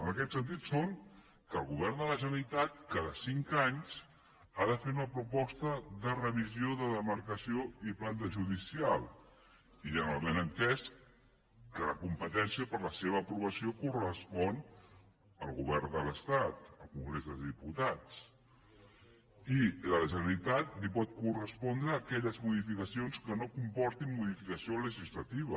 en aquest sentit són que el govern de la generalitat cada cinc anys ha de fer una proposta de revisió de demarcació i planta judicial i amb el benentès que la competència per a la seva aprovació correspon al govern de l’estat al congrés de diputats i a la generalitat li poden correspondre aquelles modificacions que no comportin modificació legislativa